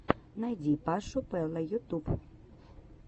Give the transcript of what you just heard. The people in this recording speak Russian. найди пашу пэла ютюб